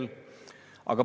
Ma ei saa sellest aru.